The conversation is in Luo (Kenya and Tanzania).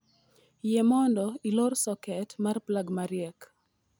yie mondo ilor soket mar plag mariek